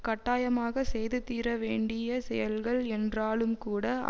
கட்டாயமாகச் செய்து தீர வேண்டிய செயல்கள் என்றாலும்கூட